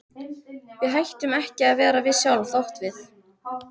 Við hættum ekki að vera við sjálf þótt við.